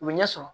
U bɛ ɲɛ sɔrɔ